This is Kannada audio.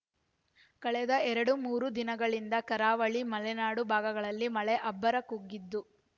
ಕಳೆದ ಎರಡು ಮೂರು ದಿನಗಳಿಂದ ಕರಾವಳಿ ಮಲೆನಾಡು ಭಾಗಗಳಲ್ಲಿ ಮಳೆ ಅಬ್ಬರ ಕುಗ್ಗಿದ್ದು